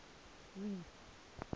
reef